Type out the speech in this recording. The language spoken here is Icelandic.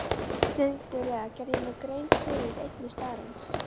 Skyndilega gerði ég mér grein fyrir einni staðreynd.